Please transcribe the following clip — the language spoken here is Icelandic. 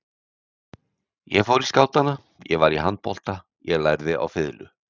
Ég fór í skátana, ég var í handbolta, ég lærði á fiðlu.